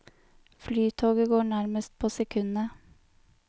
Flytoget går nærmest på sekundet.